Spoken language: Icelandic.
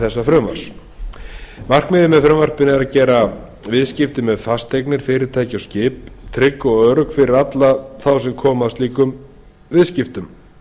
þessa frumvarps markmiðið með frumvarpinu er að gera viðskipti með fasteignir fyrirtæki og skip trygg og örugg fyrir alla þá sem koma að slíkum viðskiptum